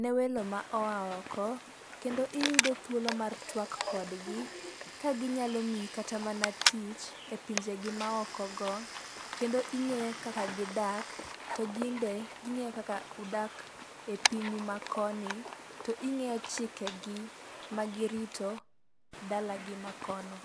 ne welo ma oa oko. Kendo iyudo thuolo mar twak kodgi ka ginyalo miyi kata mana tich e pinje gi maoko go kendo ing'eyo kaka gidak to gin be ging'eyo kaka udake e pinyu ma koni. To ing'eyo chike gi ma girito dalagi ma kono.